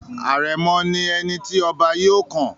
Àrẹ̀mọ̀ ni ẹni tí ọba yóò kàn.